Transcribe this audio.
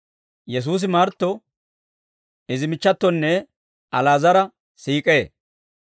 Yesuusi Martto, izi michchatonne Ali'aazara siik'ee;